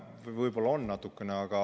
No võib-olla on natukene.